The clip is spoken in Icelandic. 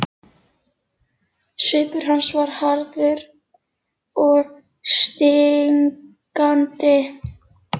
Svipur hans var harður og stingandi.